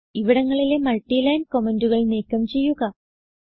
ഇവിടങ്ങളിലെ multiline കമന്റുകൾ നീക്കം ചെയ്യുക